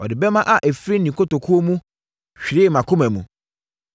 Ɔde bɛmma a ɛfiri ne kotokuo mu hwiree mʼakoma mu.